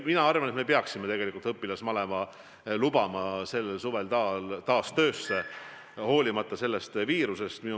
Mina arvan, et me peaksime õpilasmaleva lubama sellel suvel taas tööle, hoolimata sellest viirusest.